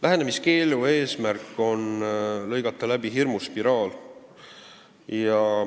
Lähenemiskeelu eesmärk on lõigata läbi hirmuspiraal.